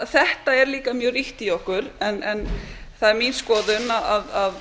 þetta er líka mjög ríkt í okkur en það er mín skoðun að